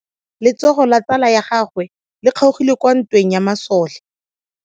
Letsogo la tsala ya gagwe le kgaogile kwa ntweng ya masole.